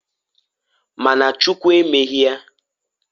Ma na Chukwu emeghi ya.